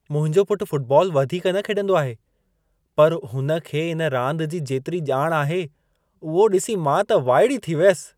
मुंहिंजो पुट फ़ुटबॉल वधीक न खेॾंदो आहे, पर हुन खे इन रांद जी जेतिरी ॼाण आहे, उहो ॾिसी मां त वाइड़ी थी वियसि।